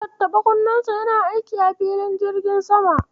Tattaɓa kunnensa yana aiki a filin jirgin sama.